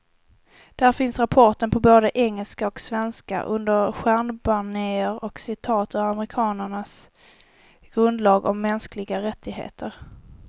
Där finns rapporten på både engelska och svenska, under ett stjärnbanér och citat ur amerikanernas grundlag om mänskliga rättigheter.